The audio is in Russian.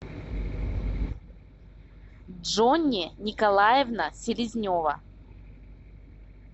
джонни николаевна селезнева